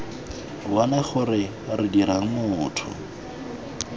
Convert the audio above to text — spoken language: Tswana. bone gore re dirang motho